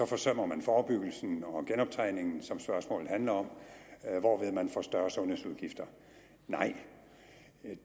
forsømmer man forebyggelsen og genoptræningen som spørgsmålet handler om hvorved man får større sundhedsudgifter nej